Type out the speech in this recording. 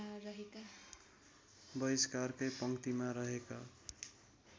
बहिष्कारकै पङ्क्तिमा रहेका